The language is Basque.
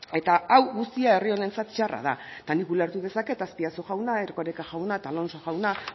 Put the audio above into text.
eta hau guztia herri honentzat txarra da eta nik ulertu dezaket azpiazu jauna erkoreka jauna eta alonso jauna